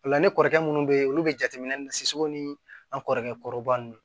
Ola ni kɔrɔkɛ munnu be ye olu be jateminɛ ni an kɔrɔkɛ kɔrɔba ninnu